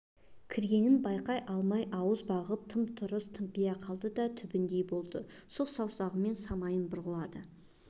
кіргенін байқай алмай ауыз бағып тым-тырыс тымпия қалды да түбіндей болды сұқ саусағымен самайын бұрғылады